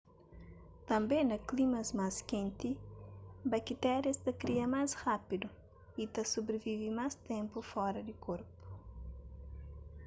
tânbe na klimas más kenti bakitérias ta kria más rapidu y ta sobrivive más ténpu fora di korpu